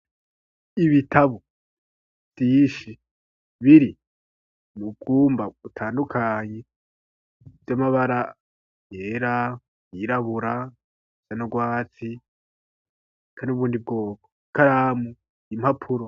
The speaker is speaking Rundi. ibitabo vyinshi biri ni ukumba utandukanye vy'amabara yera yirabura nurwatsi kandi ubundi bwoko karamu yimpapuro.